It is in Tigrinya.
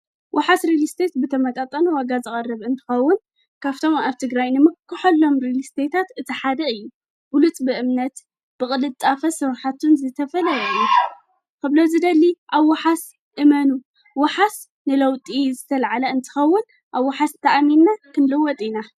ወሓስ ሪልስቴት ብተመጣጠን ዋጋ ዝቐርብ እንትኸውን ካብቶም ኣብ ትግራይ ንምክሀሎም ሪልስቴት እቲሓድ እዩ። ብሉፅ ብእምነት፣ ብቕልጣፈ፣ ሥራሓቱን ዝተፈለየዩ ኽብሎ ዝደሊ ኣብ ውሓስ እመኑ ወሓስ ንለውጢ ዝተልዓለ እንተኸውን ኣብ ውሓስ ተኣሚና ክንልወጥ ኢና።